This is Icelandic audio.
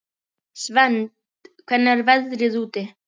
Svend, hvernig er veðrið úti?